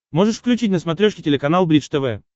можешь включить на смотрешке телеканал бридж тв